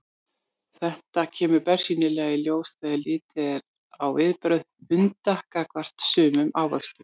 Þetta kemur bersýnilega í ljós þegar litið er á viðbrögð hunda gagnvart sumum ávöxtum.